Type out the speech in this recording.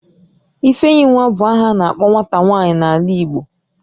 Ifeyinwa bu aha a na-akpo nwata nwaanyị n'ala Igbo